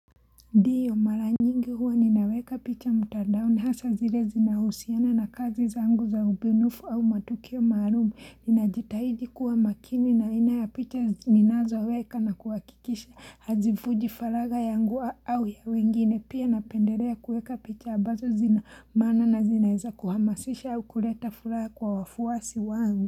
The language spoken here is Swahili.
Ndio mara nyingi huwa ninaweka picha mtadaoni hasa zile zinahusiana na kazi zangu za ubunifu au matukio maalum ninajitahidi kuwa makini na aina ya picha ninazoweka na kuhakikisha hazifuji faragha yangu au ya wengine pia napendelea kuweka picha abazo zina maana na zinaeza kuhamasisha au kuleta furaha kwa wafuasi wangu.